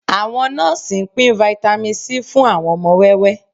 Àwọn nọ́ọ́sì ń pín Vitamin C fún àwọn ọmọ wẹ́wẹ́